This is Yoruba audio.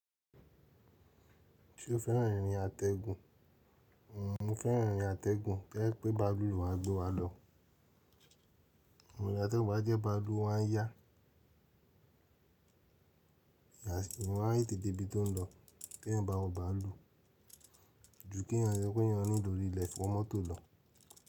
Ṣé o fẹ́ràn irin atẹ́gun? Mo fẹ́ràn irin ategun to ye pe bàálù lo ma gbe wa lo. Irin atẹ́gun bá jẹ́ báalu owa n yá, ìyàsímímọ́ wa yí tètè bí i tó n lọ, kí èèyàn bá wọ́n bá a lu u, ju kí èèyàn rẹ pé èèyàn nílò rìlèèfù mọ́tò lọ.